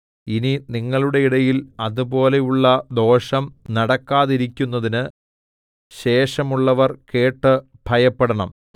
ഇനി നിങ്ങളുടെ ഇടയിൽ അതുപോലെയുള്ള ദോഷം നടക്കാതിരിക്കുന്നതിന് ശേഷമുള്ളവർ കേട്ട് ഭയപ്പെടണം